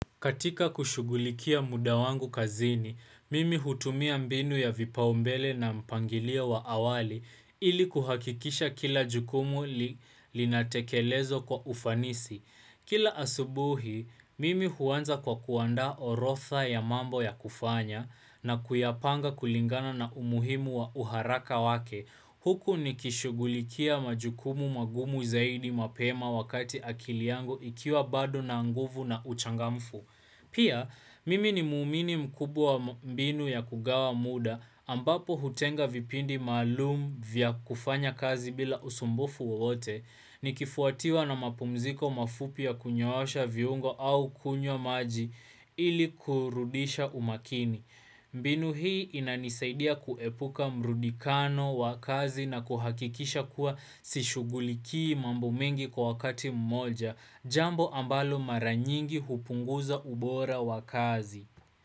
Katika kushugulikia muda wangu kazini, mimi hutumia mbinu ya vipaumbele na mpangilio wa awali ili kuhakikisha kila jukumu linatekelezwa kwa ufanisi. Kila asubuhi, mimi huwanza kwa kuanda orotha ya mambo ya kufanya na kuyapanga kulingana na umuhimu wa uharaka wake. Huku ni kishugulikia majukumu magumu zaidi mapema wakati akili yangu ikiwa bado na nguvu na uchangamfu. Pia, mimi ni muumini mkubwa mbinu ya kugawa muda ambapo hutenga vipindi maalum vya kufanya kazi bila usumbufu wowote ni kifuatiwa na mapumziko mafupi ya kunyoosha viungo au kunywa maji ili kurudisha umakini. Mbinu hii inanisaidia kuepuka mrudikano wa kazi na kuhakikisha kuwa sishuguliki mambo mengi kwa wakati mmoja, jambo ambalo maranyingi hupunguza ubora wakazi.